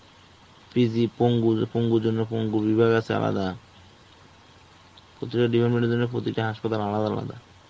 PG , পঙ্গু, পঙ্গুর জন্য পঙ্গু বিভাগ আছে আলাদা. প্রতিটা department জন্য প্রতিটা হাসপাতাল আলাদা আলাদা.